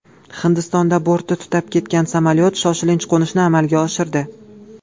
Hindistonda borti tutab ketgan samolyot shoshilinch qo‘nishni amalga oshirdi.